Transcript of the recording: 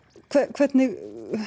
hvernig